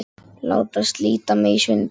Láta slíta mig í sundur.